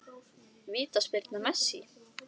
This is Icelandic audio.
Vítaspyrna Messi?